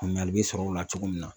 Faamuyali bi sɔrɔ o la cogo min na